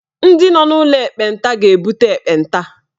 Ndị nọ n'ụlọ ekpenta ga-ebute ekpenta.